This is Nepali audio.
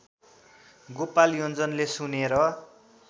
गोपाल योञ्जनले सुनेर